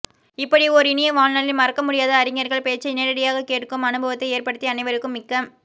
இப்படி ஓர் இனிய வாழ்நாளில் மறக்கமுடியாத அறிஞர்கள் பேச்சை நேரடியாகக் கேட்கும் அனுபவத்தை ஏற்படுத்திய அனைவருக்கும் மிக்க